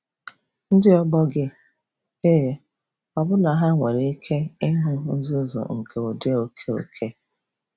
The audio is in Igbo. Ndị ọgbọ gị? Ee – ọbụna ha nwere ike ịhụ nzuzu nke ụdị oke oke.